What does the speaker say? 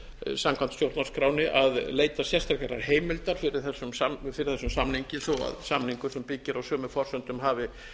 samkvæmt stjórnarskránni að leita sérstakrar heimildar fyrir þessum samningi þó samningur sem byggir á sömu forsendum hafi